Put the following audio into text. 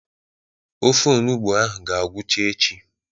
Ofe onụgbọ ahụ ga-agwụcha echi.